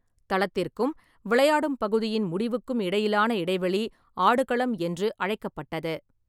தளத்திற்கும் விளையாடும் பகுதியின் முடிவுக்கும் இடையிலான இடைவெளி "ஆடுகளம்" என்று அழைக்கப்பட்டது.